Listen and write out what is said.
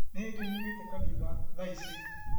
Nĩhĩndĩ nyumĩte kanitha, tha ici